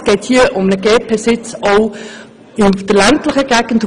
Es geht hier um eine Stelle in einer ländlichen Gegend.